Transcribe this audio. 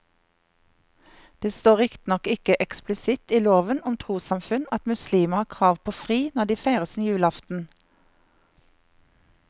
Det står riktignok ikke eksplisitt i loven om trossamfunn at muslimer har krav på fri når de feirer sin julaften.